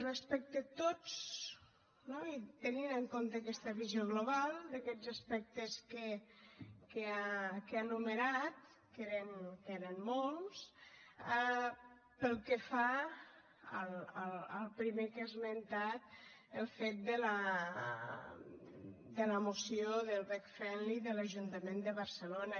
respecte a tots no i tenint en compte aquesta visió global d’aquests aspectes que ha enumerat que eren molts pel que fa al primer que ha esmentat el fet de la moció del veg friendly de l’ajuntament de barcelona